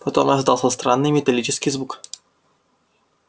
потом раздался странный металлический звук